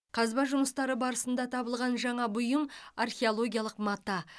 қазба жұмыстары барысында табылған жаңа бұйым археологиялық мата